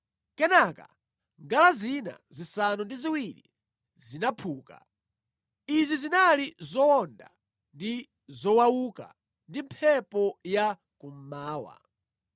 Kenaka ngala zina zisanu ndi ziwiri zinaphuka. Izi zinali zowonda ndi zowauka ndi mphepo ya kummawa.